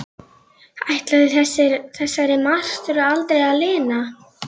Ætlaði þessari martröð aldrei að linna?